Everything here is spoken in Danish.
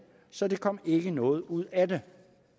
så der kom ikke noget ud af det